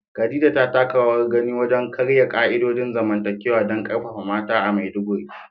Khadija ta taka rawar gani wajen karya ka'idojin zamantakewa don karfafa mata a Maiduguri.